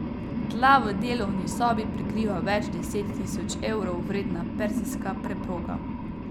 Tla v delovni sobi prekriva več deset tisoč evrov vredna perzijska preproga.